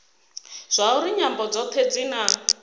zwauri nyambo dzothe dzi na